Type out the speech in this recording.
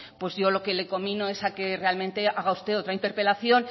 pues yo lo que le conmino es a que realmente haga usted otra interpelación